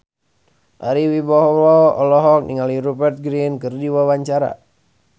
Ari Wibowo olohok ningali Rupert Grin keur diwawancara